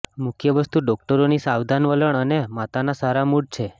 મુખ્ય વસ્તુ ડોકટરોની સાવધાન વલણ અને માતાના સારા મૂડ છે